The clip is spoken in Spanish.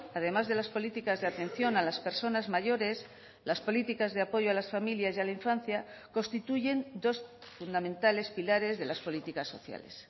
además de las políticas de atención a las personas mayores las políticas de apoyo a las familias y a la infancia constituyen dos fundamentales pilares de las políticas sociales